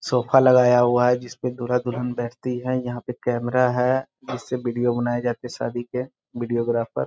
Sofa लगाया हुआ है । जिसपे दूल्हा दुल्हन बैठती है । यहाँ पे कैमरा है । इससे विडियो बनाया जाता है । शादी के विडियोग्राफर --